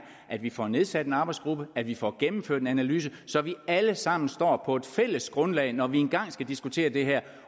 at vi får nedsat en arbejdsgruppe at vi får gennemført en analyse så vi alle sammen står på et fælles grundlag når vi engang skal diskutere det her